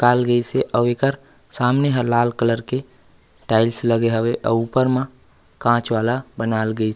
काल गइस हे आऊ एकर सामने हा लाल कलर के टाइल्स लगे हवे आऊ ऊपर मा कांच वाला बनाइल गइस हे।